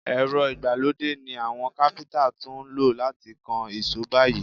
Èrọ ìgbàlódé ni àwọn káfíntà tún lò láti kan ìṣó báyìí.